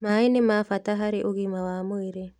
Maaĩ nĩ ma bata harĩ ũgima wa mwĩrĩ